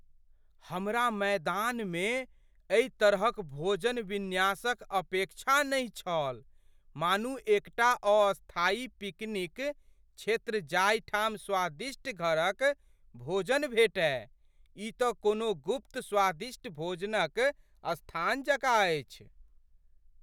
हमरा मैदानमे एहि तरहक भोजन विन्यासक अपेक्षा नहि छल मानू एकटा अस्थायी पिकनिक क्षेत्र जाहिठाम स्वादिष्ट घरक भोजन भेटय! ई तँ कोनो गुप्त स्वादिष्ट भोजनक स्थान जकाँ अछि।